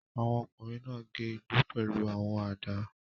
Àwọn ọkùnrin náà gé igbó pẹ̀lú àwọn àdá.